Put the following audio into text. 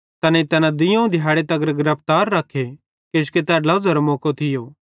तैनेईं तैना दुइयोवं दिहैड़ी तगर गिरफ्तार रख्खे किजोकि तै ड्लोझ़ारो मौको थियो